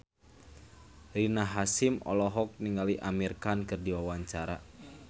Rina Hasyim olohok ningali Amir Khan keur diwawancara